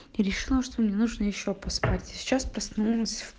и решила что мне нужно ещё поспать сейчас проснулась